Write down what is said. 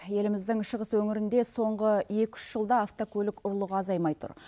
еліміздің шығыс өңірінде соңғы екі үш жылда автокөлік ұрлығы азаймай тұр